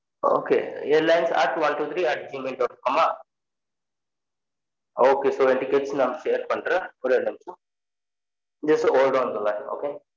okay airlines at one two three at Gmail dot com அ ok so என் tickets நான் share பண்றென் ஒரெ ஒரு நிமிஷம் just hold on the line okay